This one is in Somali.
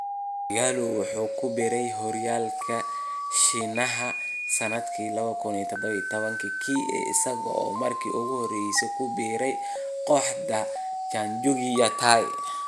ighalo waxa uu ku biiray horyaalka Shiinaha sanadkii 2017-kii, isaga oo markii ugu horaysay ku biiray kooxda Changchun Yatai.